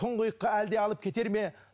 тұңғиыққа әлде алып кетер ме